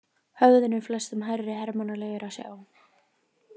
Höfðinu flestum hærri hermannlegur að sjá.